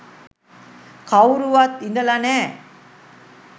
කවුරුවත් ඉඳලා නෑ